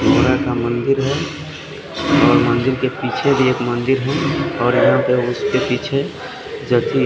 का मंदिर है और मंदिर के पीछे भी एक मंदिर है और यहाँ पे उसके पीछे जथी--